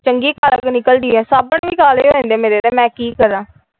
ਚੰਗੀ ਕਾਲਕੋ ਨਿਕਲਦੀ ਸਾਬਣ ਵੀ ਕਾਲੇ ਹੋ ਜਾਂਦੇ ਮੇਰੇ ਤੇ ਮੈ ਕਿ ਕਰਾ ।